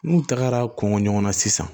N'u tagara kɔngɔ ɲɔgɔn na sisan